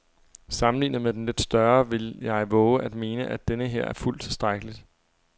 Sammenlignet med den lidt større vil jeg vove at mene, at denneher er fuldt tilstrækkelig.